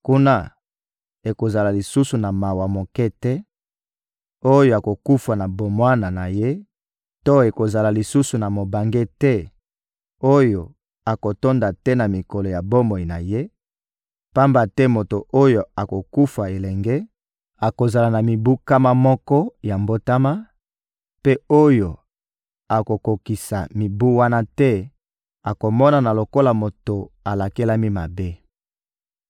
Kuna, ekozala lisusu na mwana moke te oyo akokufa na bomwana na ye to ekozala lisusu na mobange te oyo akotonda te na mikolo ya bomoi na ye; pamba te moto oyo akokufa elenge akozala na mibu nkama moko ya mbotama, mpe oyo akokokisa mibu wana te, akomonana lokola moto alakelami mabe.